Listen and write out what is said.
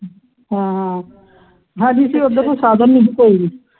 ਹਾਂ ਹਾਂ ਉਹਦੇ ਤੇ ਉਧਰ ਨੂੰ ਸਾਗਰ ਨਹੀਂ ਕੋਈ